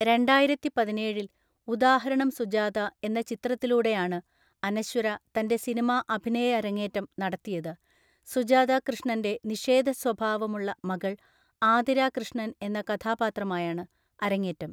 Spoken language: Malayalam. രണ്ടായിരത്തിപതിനേഴില്‍ ഉദാഹരണം സുജാത എന്ന ചിത്രത്തിലൂടെയാണ് അനശ്വര തന്റെ സിനിമാ അഭിനയ അരങ്ങേറ്റം നടത്തിയത്, സുജാത കൃഷ്ണന്റെ നിഷേധസ്വഭാവമുള്ള മകൾ ആതിര കൃഷ്ണൻ എന്ന കഥാപാത്രമായാണ് അരങ്ങേറ്റം.